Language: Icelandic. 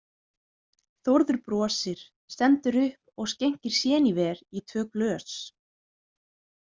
Þórður brosir, stendur upp og skenkir séníver í tvö glös.